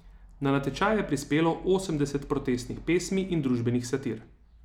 Na natečaj je prispelo osemdeset protestnih pesmi in družbenih satir.